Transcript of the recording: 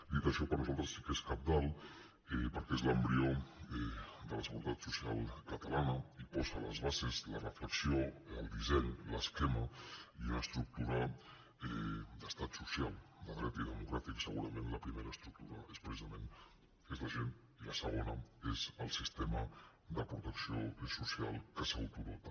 dit això per nosaltres sí que és cabdal perquè és l’embrió de la seguretat social catalana i posa les bases la reflexió el disseny l’esquema i una estructura d’estat social de dret i democràtic segurament la primera estructura és precisament la gent i la segona és el sistema de protecció social del qual s’autodota